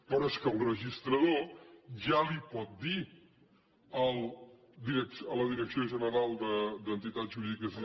però és que el registrador ja li pot dir a la direcció general de dret i entitats jurídiques